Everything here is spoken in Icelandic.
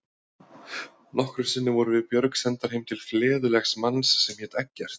Nokkrum sinnum vorum við Björg sendar heim til fleðulegs manns sem hét Eggert.